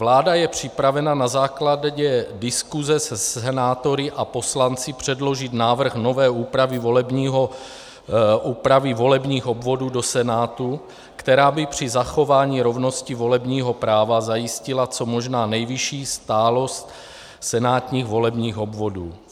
Vláda je připravena na základě diskuse se senátory a poslanci předložit návrh nové úpravy volebních obvodů do Senátu, která by při zachování rovnosti volebního práva zajistila co možná nejvyšší stálost senátních volebních obvodů.